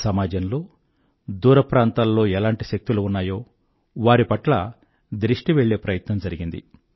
సమాజంలో దూరప్రాంతాల్లో ఎలాంటి శక్తులు ఉన్నాయో వారి పట్ల దృష్టి వెళ్ళే ప్రయత్నం జరిగింది